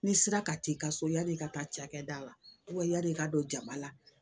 Ni sira ka teli ka so yan'i ka taa cakɛda la yan'i ka don jama la